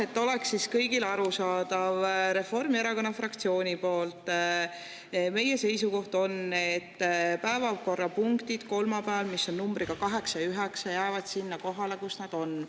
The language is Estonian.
Et oleks kõigile arusaadav, Reformierakonna fraktsiooni seisukoht on, et päevakorrapunktid kolmapäeval, mis on numbriga 8 ja 9, jäävad sinna kohale, kus nad on.